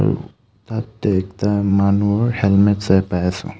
তাতে একতা মানুহৰ হেলমেত চাই পাই আছোঁ.